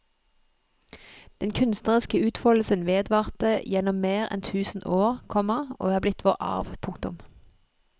Den kunstneriske utfoldelsen vedvarte gjennom mer enn tusen år, komma og er blitt vår arv. punktum